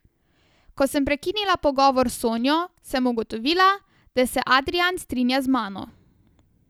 Ko sem prekinila pogovor s Sonjo, sem ugotovila, da se Adrijan strinja z mano.